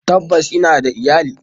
Tabbas ina da iyali.